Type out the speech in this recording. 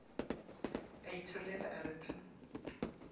a itholela a re tu